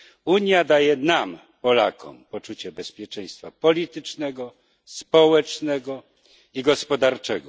Unia daje nam, Polakom, poczucie bezpieczeństwa politycznego, społecznego i gospodarczego.